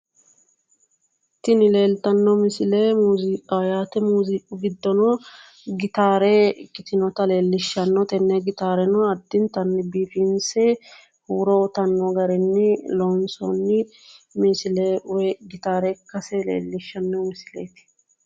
tini leellitano misile muuziqaho yaate muuziqu giddono gitaare ikkitinota leellishano tene gitaareno addintanni biifinse huuro uyitanno garini lonsooni misile woyi gitaare ikkase leellishanno misileeti.